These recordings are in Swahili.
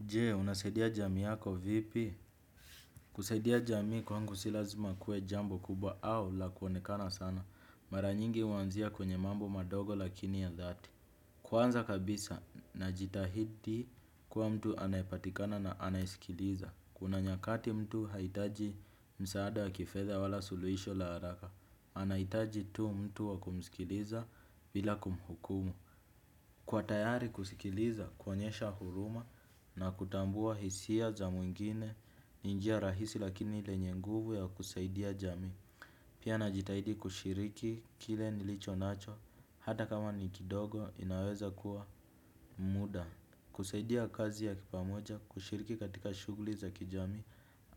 Je, unasaidia jamii yako vipi? Kusaidia jamii kwangu si lazima kuwe jambo kubwa au la kuonekana sana. Mara nyingi huanzia kwenye mambo madogo lakini ya dhati. Kwanza kabisa najitahidi kuwa mtu anayepatikana na anayesikiliza. Kuna nyakati mtu haitaji msaada wa kifedha wala suluhisho la haraka. Anahitaji tu mtu wa kumsikiliza bila kumhukumu. Kwa tayari kusikiliza, kuonyesha huruma na kutambua hisia za mwingine ni njia rahisi lakini lenye nguvu ya kusaidia jamii. Pia najitahidi kushiriki kile nilicho nacho hata kama ni kidogo inaweza kuwa muda. Kusaidia kazi ya kipamoja, kushiriki katika shughuli za kijamii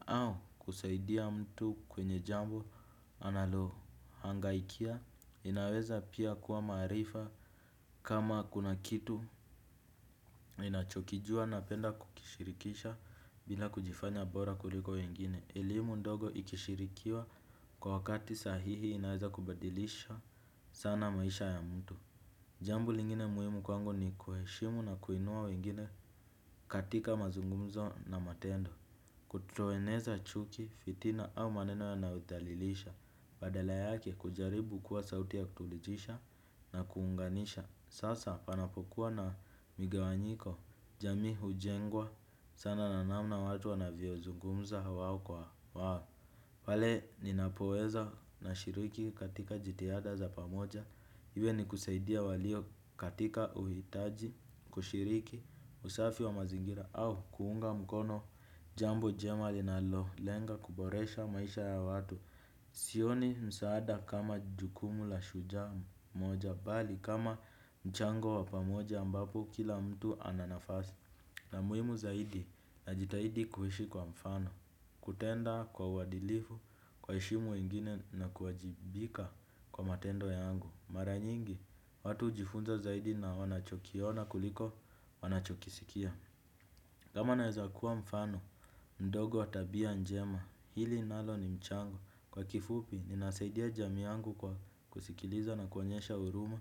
au kusaidia mtu kwenye jambo analohangaikia. Inaweza pia kuwa maarifa kama kuna kitu ninachokijua napenda kukishirikisha bila kujifanya bora kuliko wengine. Elimu ndogo ikishirikiwa kwa wakati sahihi inaweza kubadilisha sana maisha ya mtu. Jambo lingine muhimu kwangu ni kuheshimu na kuinua wengine katika mazungumzo na matendo. Kutoeneza chuki, fitina au maneno yanayothalilisha. Badala yake kujaribu kuwa sauti ya kutulijisha na kuunganisha. Sasa panapokuwa na migawanyiko jamii hujengwa sana na namna watu wanavyozungumza wao kwa wao. Pale ninapoweza nashiriki katika jitihada za pamoja. Iwe ni kusaidia walio katika uhitaji, kushiriki, usafi wa mazingira au kuunga mkono jambo jema linalolenga kuboresha maisha ya watu. Sioni msaada kama jukumu la shujaa moja bali kama mchango wa pamoja ambapo kila mtu ana nafasi. Na muhimu zaidi najitahidi kuishi kwa mfano, kutenda kwa uadilifu, kuwaheshimu wengine na kuwajibika kwa matendo yangu. Mara nyingi, watu hujifunza zaidi na wanachokiona kuliko wanachokisikia. Kama naweza kuwa mfano ndogo wa tabia njema. Hili nalo ni mchango. Kwa kifupi, ninasaidia jamii yangu kwa kusikiliza na kuonyesha huruma,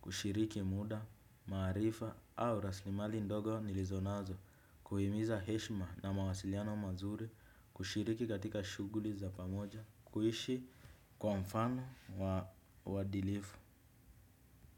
kushiriki muda, maarifa au rasilimali ndogo nilizo nazo, kuhimiza heshma na mawasiliano mazuri, kushiriki katika shughuli za pamoja, kuishi kwa mfano wa uadilifu.